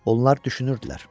Onlar düşünürdülər.